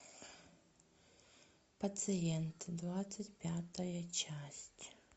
пациент двадцать пятая часть